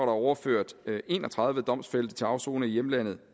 overført en og tredive domfældte til afsoning i hjemlandet